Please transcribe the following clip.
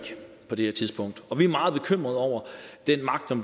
på det her tidspunkt og vi er meget bekymrede over den magt